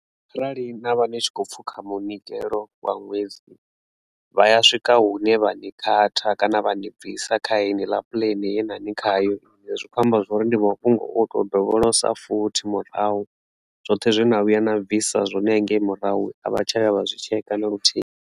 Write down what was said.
Kharali navha ni tshi khou pfhukha munikelo wa nwedzi vha ya swika hune vha ni khatha kana vha ni bvisa kharentsi ḽa puḽene yenavha ni khayo zwi kho amba zwori ndi mafhungo o to dovholola futhi murahu zwoṱhe zwi na vhuya na bvisa zwone hangei murahu a vha tsha ya vha zwi tshekha na luthihi.